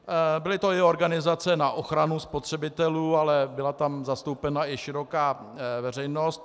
Byly to i organizace na ochranu spotřebitelů, ale byla tam zastoupena i široká veřejnost.